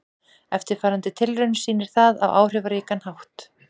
Eftirfarandi tilraun sýnir það á áhrifaríkan hátt.